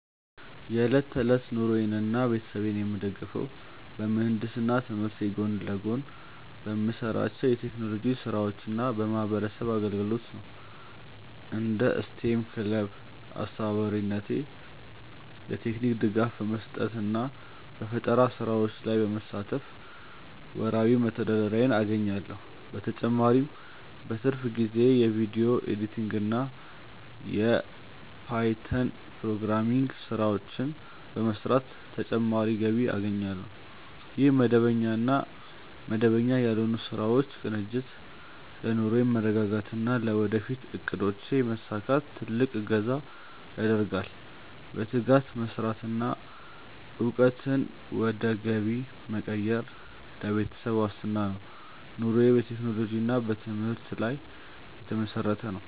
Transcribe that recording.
የዕለት ተዕለት ኑሮዬንና ቤተሰቤን የምደግፈው በምህንድስና ትምህርቴ ጎን ለጎን በምሰራቸው የቴክኖሎጂ ስራዎችና በማህበረሰብ አገልግሎት ነው። እንደ ስቴም ክለብ አስተባባሪነቴ የቴክኒክ ድጋፍ በመስጠትና በፈጠራ ስራዎች ላይ በመሳተፍ ወርሃዊ መተዳደሪያዬን አገኛለሁ። በተጨማሪም በትርፍ ጊዜዬ የቪዲዮ ኤዲቲንግና የፓይተን ፕሮግራሚንግ ስራዎችን በመስራት ተጨማሪ ገቢ አገኛለሁ። ይህ መደበኛና መደበኛ ያልሆኑ ስራዎች ቅንጅት ለኑሮዬ መረጋጋትና ለወደፊት እቅዶቼ መሳካት ትልቅ እገዛ ያደርጋል። በትጋት መስራትና እውቀትን ወደ ገቢ መቀየር ለቤተሰብ ዋስትና ነው። ኑሮዬ በቴክኖሎጂና በትምህርት ላይ የተመሰረተ ነው።